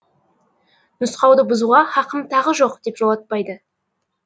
нұсқауды бұзуға хақым тағы жоқ деп жолатпайды